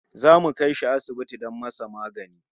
Mu zamu kai shi asibiti don masa magani